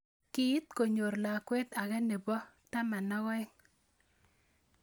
Kiit konyor lakwet age nebo 12.